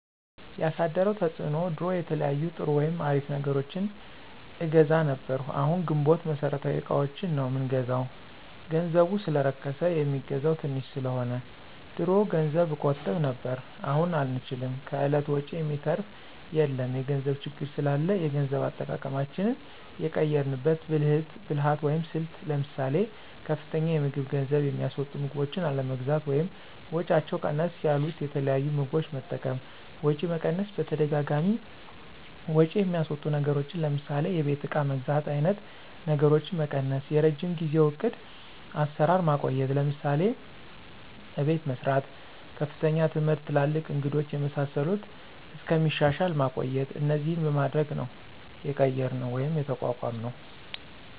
ያሳደረው ተፅዕኖ ድሮ የተለያዩ ጥሩ ወይም አሪፍ ነገሮችን አገዛ ነብር አሁን ግንቦት መሠረታዊ እቃዎችን ነው ምንገዛው ገንዘቡ ሰለረከስ የሚገዛው ተንሽ ሰለሆነ። ድሮ ገንዘብ እቆጥብ ነብር አሁን አንችልም ከእለት ወጭ የሚተራፍ የለም የገንዘብ ችግር ስላላ የገንዘብ አጠቃቀማችን የቀየራንበት ብልህት ወይም ስልት ለምሳሌ፦ ከፍተኛ የምግብ ገንዝብ የሚስወጡ ምግቦችን አለመግዛት ወይም ወጫቸው ቀነስ ያሉት የተለያዩ ምግቦች መጠቀም፣ ወጪ መቀነስ በተደጋጋሚ ወጭ የሚያስወጡ ነገሮችን ለምሳሌ የቤት እቃ መግዛት አይነት ነገሮችን መቀነሰ፣ የረጅም ጊዜው ዕቅድ አሰራር ማቆየት ለምሳሌ፦ አቤት መሰራት፣ ከፍተኛ ትምህርት ትላልቅ እንግዶች የመሳሰሉት እስከሚሻሻል ማቆየት እነዚህን በማድረግ ነው የቀየራነው ወይም የተቋቋምነውደ